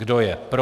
Kdo je pro?